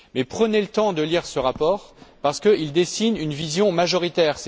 Mais prenez le temps de lire ce rapport parce qu'il ébauche une vision majoritaire.